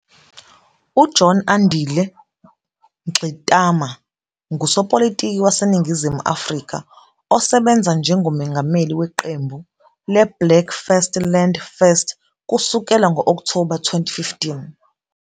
UJohn Andile Mngxitama ngusopolitiki waseNingizimu Afrika osebenza njengomengameli weqembu leBlack First Land First kusukela ngo-Okthoba 2015.